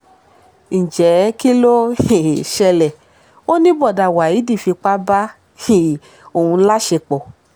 ǹjẹ́ kí ló um ṣẹlẹ̀ ó ní bọ́ọ̀dà waheed fipá bá um òun láṣepọ̀